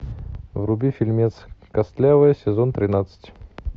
вруби фильмец костлявые сезон тринадцать